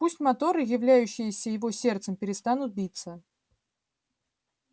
пусть моторы являющиеся его сердцем перестанут биться